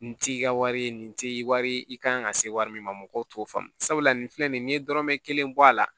Nin t'i ka wari ye nin tɛ wari ye i kan ka se wari min ma mɔgɔw t'o faamu sabula nin filɛ nin ye n'i ye dɔrɔmɛ kelen bɔ a la